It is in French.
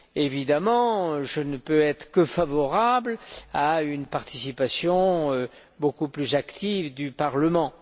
Évidemment, je ne peux être que favorable à une participation beaucoup plus active du Parlement.